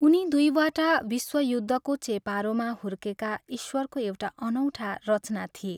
उनी दुईवटा विश्वयुद्धको चेपारोमा हुर्केका ईश्वरको एउटा अनौठा रचना थिए।